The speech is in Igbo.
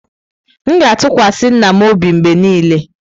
M ga-atụkwasị nna m obi mgbe niile.